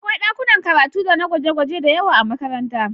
Akwai ɗakunan karatu dana gwaje-gwaje da yawa a makaranta